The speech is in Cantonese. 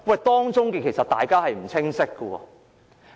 當中其實有不清晰之處。